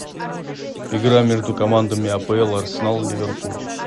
игра между командами апл арсенал ливерпуль